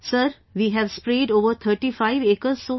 Sir, we have sprayed over 35 acres so far